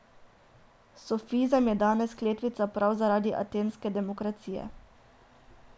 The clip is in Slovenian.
Sofizem je danes kletvica prav zaradi atenske demokracije.